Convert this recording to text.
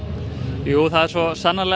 jú svo sannarlega